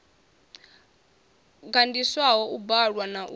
gandiswaho u bvalwa na u